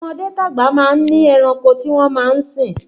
Tọmọdé tagba máa ń ní ẹranko tí wọn má sín